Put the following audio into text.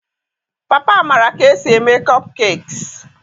Papa maara ka esi eme kopkekiis.